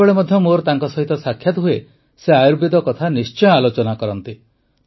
ଯେତେବେଳେ ମଧ୍ୟ ମୋର ତାଙ୍କ ସହ ସାକ୍ଷାତ ହୁଏ ସେ ଆୟୁର୍ବେଦ କଥା ନିଶ୍ଚୟ ଆଲୋଚନା କରନ୍ତି